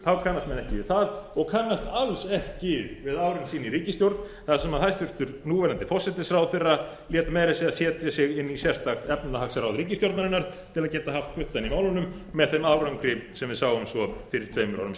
við það og kannast alls ekki við árin sín í ríkisstjórn þar sem hæstvirtur núverandi forsætisráðherra lét meira að segja setja sig inn í sérstakt efnahagsráð ríkisstjórnarinnar til að geta haft puttann í málunum með þeim árangri sem við sáum svo fyrir tveimur árum síðan